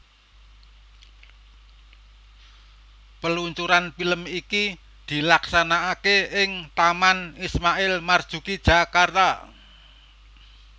Peluncuran film iki dilaksanakake ing Taman Ismail Marzuki Jakarta